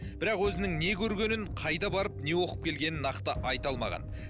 бірақ өзінің не көргенін қайда барып не оқып келгенін нақты айта алмаған